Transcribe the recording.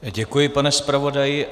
Děkuji, pane zpravodaji.